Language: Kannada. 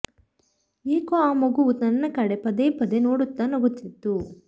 ಏಕೊ ಆ ಮಗುವು ನನ್ನ ಕಡೆ ಪದೆ ಪದೆ ನೋಡುತ್ತ ನಗುತ್ತಿತ್ತು